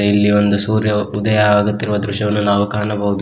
ಇಲ್ಲಿ ಒಂದು ಸೂರ್ಯ ಉದಯ ಆಗುತ್ತಿರುವ ದೃಶ್ಯವನ್ನು ನಾವು ಕಾಣಬಹುದು.